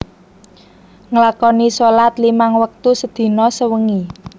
Nglakoni sholat limang wektu sedina sewengi